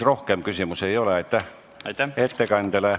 Rohkem küsimusi ettekandjale ei ole.